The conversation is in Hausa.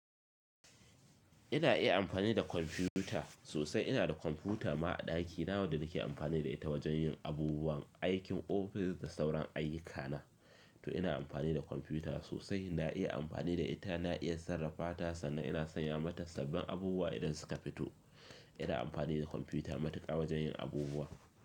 Ina iya amfani da kwamfuta sosai. Ina da kwamfuta ma a ɗakina wanda nake amfani da ita wajen yin abubuwan aikin ofis da sauran ayyukana. To ina amfani da kwamfuta sosai. Na iya amfani da ita, na iya sarrafa ta sannan ina sanya mata sabbin abubuwa idan suka fito. Ina amfani da kwamfuta matuƙa wajen yin abubuwa.